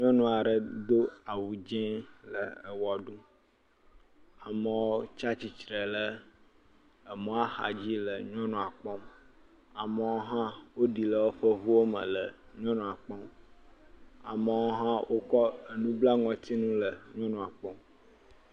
Nyɔnu aɖe do awu dzi le ewɔ ɖum. Amewo tsa tsitr le emɔa xadzi le nyɔnua kpɔm. amewo hã woɖi le woƒe ŋuwo me le nyɔnua kpɔm. Amewo hã wokɔ enu bla ŋɔtsinu le nyɔnua kpɔm.